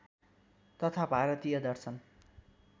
तथा भारतीय दर्शन